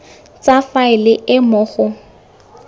tsa faele e mo go